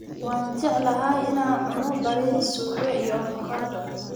waan jeclahay ina cuno baris, suga iyo avokado.